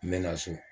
N bɛ na so